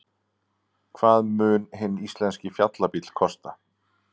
Hvað mun hinn íslenski fjallabíll kosta?